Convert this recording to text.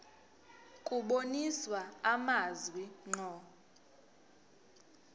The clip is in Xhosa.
kubonisa amazwi ngqo